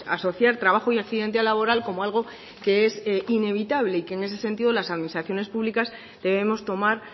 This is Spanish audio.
asociar trabajo y accidente laboral como algo que es inevitable y que en ese sentido las administraciones públicas debemos tomar